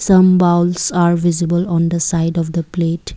some bowls are visible on the side of the plate.